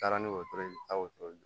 Taara ni wotoro ye taa wotoro